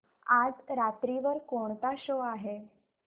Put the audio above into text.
आज रात्री वर कोणता शो आहे